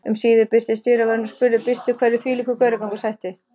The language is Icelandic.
Um síðir birtist dyravörðurinn og spurði byrstur hverju þvílíkur gauragangur sætti.